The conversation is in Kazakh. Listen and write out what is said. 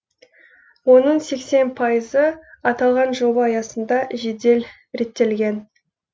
оның сексен пайызы аталған жоба аясында жедел реттелген